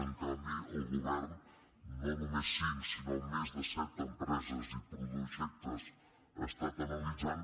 en canvi el govern no només cinc sinó més de set em·preses i projectes ha estat analitzant